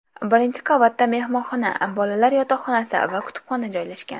Birinchi qavatda mehmonxona, bolalar yotoqxonasi va kutubxona joylashgan.